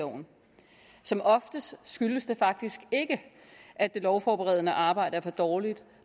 loven som oftest skyldes det faktisk ikke at det lovforberedende arbejde er for dårligt